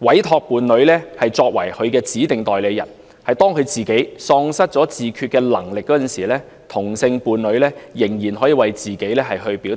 委託其伴侶為指定代理人，以便當自己喪失自決能力時，同性伴侶仍可為他表達意願。